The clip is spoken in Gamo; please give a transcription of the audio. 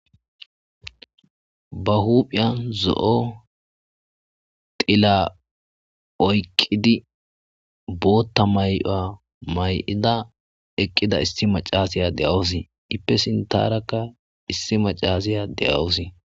Ba huuphphiyan zo'o xilla oyqidi bootta mayuwa mayada eeqida issi macashiya de'awus iippe sinttaarakka issi macashiya de'awus.